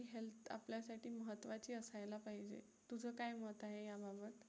महत्वाची असायला पाहिजे. तुझं काय मत आहे याबाबत?